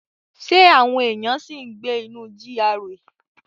Ṣé àwọn èèyàn ṣì ń gbé inú GRA?